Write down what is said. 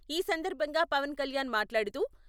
ఈ సందర్భంగా పవన్ కళ్యాణ్ మాట్లాడుతూ...